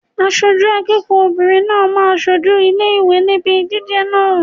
Aṣojú akẹ́kọ̀ọ́ obìnrin náà máa ṣojú ilé ìwé níbi ìdíje náà.